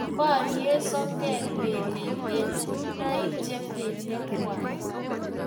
Borei sogek belek eng kuinoik che belekkwai